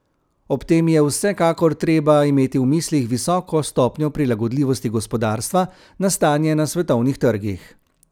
Ob tem je vsekakor treba imeti v mislih visoko stopnjo prilagodljivosti gospodarstva na stanje na svetovnih trgih.